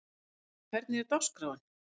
Hildar, hvernig er dagskráin?